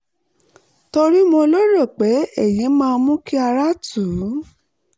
torí mo lérò pé èyí máa mú kí ara tù ú